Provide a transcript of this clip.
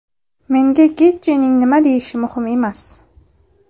Menga Getjining nima deyishi muhim emas.